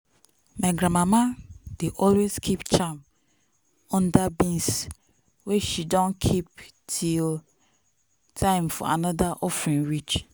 my granmama dey always keep charm under beans wey she don keep till time for another offering reach.